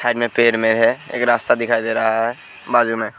पेड़ में एक रास्ता दिखाई दे रहा है। बाजू में--